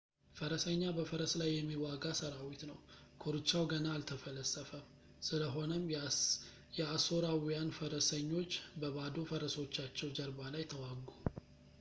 ፈረሰኛ በፈረስ ላይ የሚዋጋ ሰራዊት ነው ኮርቻው ገና አልተፈለሰፈም ስለሆነም የአሦራውያን ፈረሰኞች በባዶ ፈረሶቻቸው ጀርባ ላይ ተዋጉ